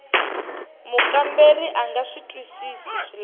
mukamberiwa a nga twisisi swilaveko